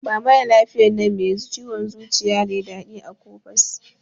Ba maralafiyan nan mai ciwon zuciya leda din Akopas.